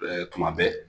Ɛɛ tuma bɛɛ